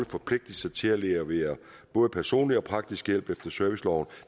forpligtet sig til at levere både personlig og praktisk hjælp efter serviceloven